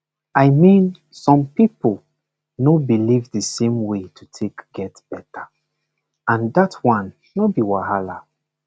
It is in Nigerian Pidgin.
i mean some people no believe the same way to take get better and that one no be wahala